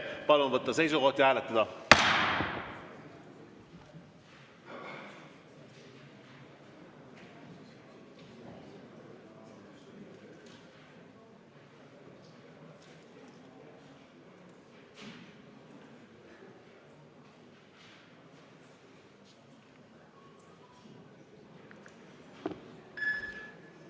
Palun võtta seisukoht ja hääletada!